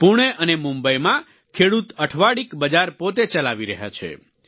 પૂણે અને મુંબઈમાં ખેડૂત અઠવાડિક બજાર પોતે ચલાવી રહ્યા છે